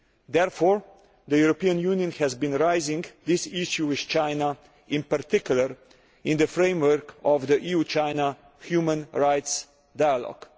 Therefore the EU has been raising this issue with China, in particular in the framework of the EU China Human Rights Dialogue.